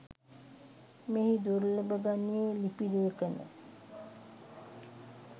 මෙහි දුර්ලභ ගණයේ ලිපි ලේඛන